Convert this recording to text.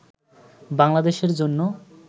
বাংলাদেশের জন্য